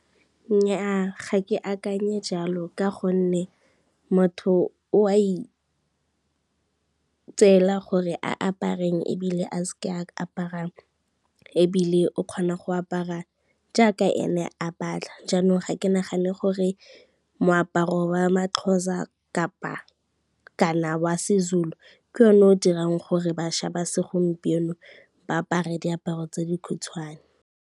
Nnyaa ga ke akanye jalo ka gonne motho o a itseela gore a apare eng ebile a se ke a aparang, ebile o kgona go apara jaaka ene a batla, jaanong ga ke nagane gore moaparo wa maXhosa kana wa Sezulu ke one o dirang gore bašwa ba segompieno ba apara diaparo tse dikhutshwane.